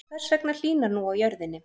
Hvers vegna hlýnar nú á jörðinni?